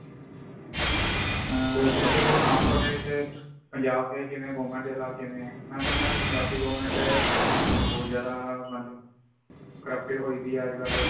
ਆ (overlap) ਤੇ ਹੋਰ ਸੁਣਾਓ ਤੁਹਾਡੇ ਇਥੇ ਪੰਜਾਬ ਦੇ ਕਿਵੇਂ, government ਦੇ ਹਾਲਾਤ ਕਿਵੇਂ ਹੈ ,ਮੇ ਸੁਣਿਆ ਪੰਜਾਬ ਦੀ government ਬਹੁਤ ਜ਼ਿਆਦਾ, ਮਤਲਬ corrupted ਹੋਈ ਪਈ ਅਜ ਕਲ |